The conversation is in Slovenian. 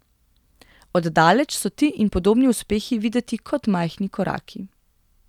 Od daleč so ti in podobni uspehi videti kot majhni koraki.